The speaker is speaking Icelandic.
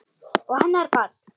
Og hennar barn.